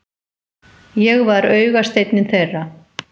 Ég var augasteinninn þeirra.